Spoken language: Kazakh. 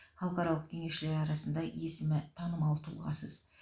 халықаралық кеңесшілер арасында есімі танымал тұлғасыз